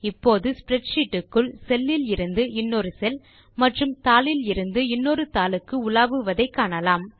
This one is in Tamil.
இப்போது ஸ்ப்ரெட்ஷீட் க்குள் செல் இலிருந்து இன்னொரு செல் மற்றும் தாளிலிருந்து தாளுக்கு உலாவுவதை காணலாம்